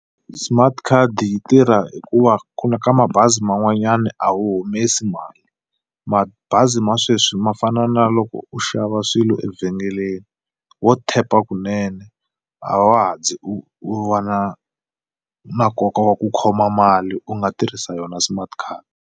Smart card yi tirha hikuva ku na ka mabazi man'wanyana a wu humesi mali. Mabazi ma sweswi ma fana na loko u xava swilo evhengeleni ho tap-a kunene a wa ha zi u va na na nkoka wa ku khoma mali u nga tirhisa yona smart card.